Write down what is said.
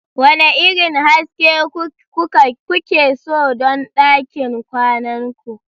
Wane irin haske kuke so don ɗakin kwanan ku?